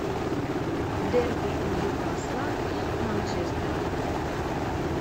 дерби ньюкасла и манчестера